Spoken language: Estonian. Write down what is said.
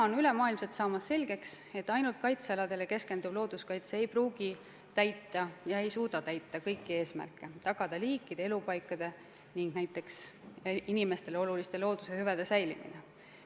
Kogu maailmas on selgeks saamas, et ainult kaitsealadele keskenduv looduskaitse ei pruugi suuta täita kõiki eesmärke, tagada liikide elupaikade ning ka inimestele oluliste loodusehüvede säilimist.